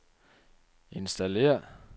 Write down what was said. installér